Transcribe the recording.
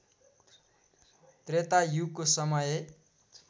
त्रेता युगको समय